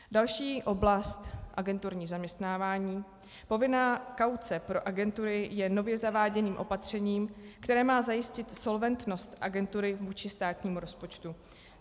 Další oblast, agenturní zaměstnávání, povinná kauce pro agentury je nově zaváděným opatřením, které má zajistit solventnost agentury vůči státnímu rozpočtu.